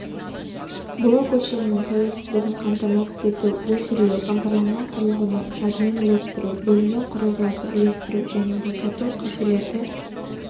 блок өлшемінің тәуелсіздігін қамтамасыз ету буферлеу бағдарланған құрылғыны жадымен үлестіру бөлінген құрылғыларды үлестіру және босату қателерді